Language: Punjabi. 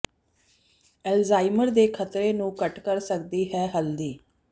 ਅਲਜ਼ਾਈਮਰ ਦੇ ਖ਼ਤਰੇ ਨੂੰ ਘੱਟ ਕਰ ਸਕਦੀ ਹੈ ਹਲਦੀ